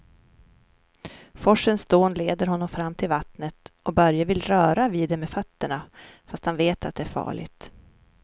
Forsens dån leder honom fram till vattnet och Börje vill röra vid det med fötterna, fast han vet att det är farligt.